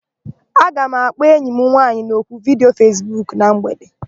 Aga m akpọ enyi m nwaanyị n'oku vidiyo Fesbuku na mgbede.